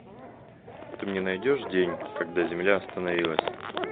ты мне найдешь день когда земля остановилась